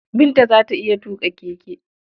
Binta za ta iya tuƙa keke.